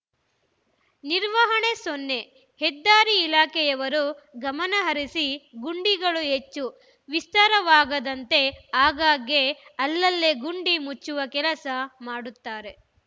ನಿರ್ವಹಣೆ ಸೊನ್ನೆ ಹೆದ್ದಾರಿ ಇಲಾಖೆಯವರು ಗಮನ ಹರಿಸಿ ಗುಂಡಿಗಳು ಹೆಚ್ಚು ವಿಸ್ತಾರವಾಗದಂತೆ ಆಗಾಗ್ಗೆ ಅಲ್ಲಲ್ಲೇ ಗುಂಡಿ ಮುಚ್ಚುವ ಕೆಲಸ ಮಾಡುತ್ತಾರೆ